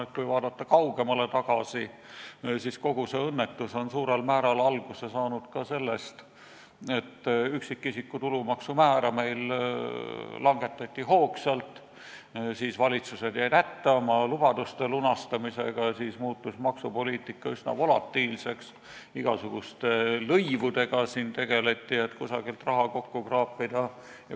Ma arvan, vaadates kaugemale tagasi, et kogu see õnnetus sai suurel määral alguse ka sellest, et üksikisiku tulumaksu määra meil hoogsalt langetati, siis jäid valitsused hätta oma lubaduste lunastamisega ja maksupoliitika muutus üsna volatiilseks, tegeleti igasuguste lõivudega, et kusagilt raha kokku kraapida.